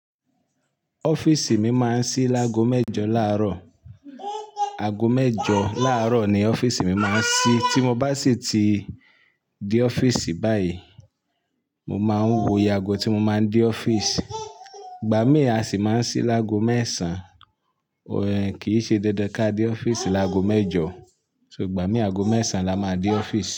Office mi máa ń sí lágo mẹ́jọ láàárọ̀. Ago mẹ́jọ láàárọ̀ ni office mi máa ń ṣí. Tí mo bá sì ti dé office báyìí, mo máa ń wòye ago tí mo máa ń dé office. Igba mí à sì máa ń sí lágo mẹ́sàn. Ó ẹn, kì í ṣe dandan ká dé office lágo mẹ́jọ. So ìgbà mí ago mẹ́sàn la máa ń dé office.